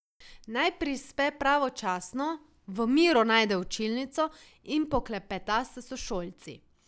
Naj prispe pravočasno, v miru najde učilnico in poklepeta s sošolci.